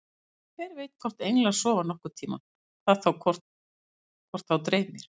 Hver veit hvort englar sofa nokkurn tímann, hvað þá hvort þá dreymir.